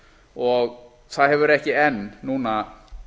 og það hefur ekki enn núna